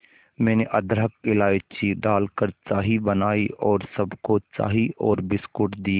मैंने अदरक इलायची डालकर चाय बनाई और सबको चाय और बिस्कुट दिए